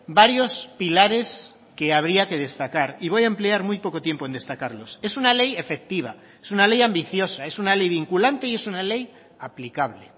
varios pilares que habría que destacar y voy a emplear muy poco tiempo en destacarlos es una ley efectiva es una ley ambiciosa es una ley vinculante y es una ley aplicable